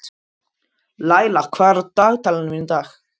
Laila, hvað er á dagatalinu mínu í dag?